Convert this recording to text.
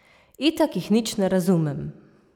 Itak jih nič ne razumem!